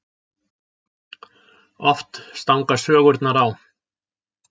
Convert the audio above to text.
Oft stangast sögurnar á.